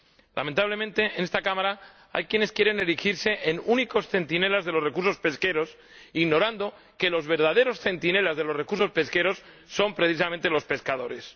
Lamentablemente, en esta Cámara hay quienes quieren erigirse en únicos centinelas de los recursos pesqueros, ignorando que los verdaderos centinelas de los recursos pesqueros son precisamente los pescadores.